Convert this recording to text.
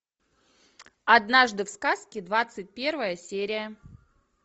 однажды в сказке двадцать первая серия